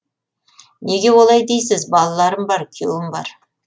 неге олай дейсіз балаларым бар күйеуім бар